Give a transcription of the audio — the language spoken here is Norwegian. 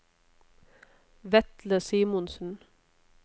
Vetle Simonsen